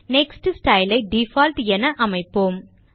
next style ஐ default என அமைப்போம்